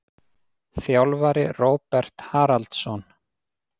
Þjálfari: Róbert Haraldsson.